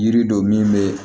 Yiri dɔ min bɛ